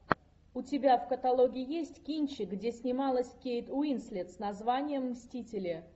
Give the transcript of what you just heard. у тебя в каталоге есть кинчик где снималась кейт уинслет с названием мстители